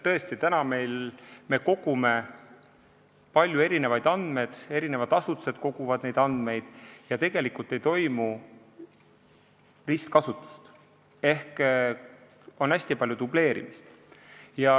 Tõesti, praegu me kogume paljusid erinevaid andmeid, eri asutused koguvad neid andmeid ja tegelikult ei toimu ristkasutust ehk on hästi palju dubleerimist.